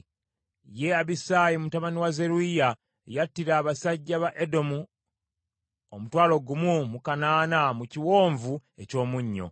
Ye Abisaayi mutabani wa Zeruyiya yattira abasajja ba Edomu omutwalo gumu mu kanaana mu Kiwonvu eky’Omunnyo.